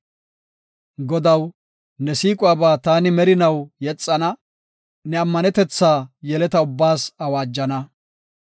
Godaw, ne siiquwaba taani merinaw yexana; ne ammanetetha yeleta ubbaas awaajana.